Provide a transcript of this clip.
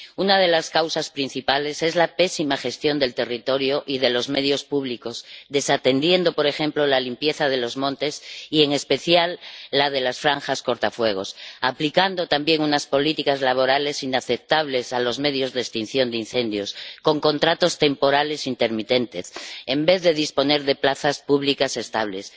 Una de las causas principales es la pésima gestión del territorio y de los medios públicos, al desatender, por ejemplo, la limpieza de los montes y en especial la de las franjas cortafuegos, y al aplicar también unas políticas laborales inaceptables a los medios de extinción de incendios, con contratos temporales intermitentes, en vez de disponer de plazas públicas estables.